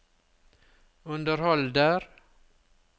underholder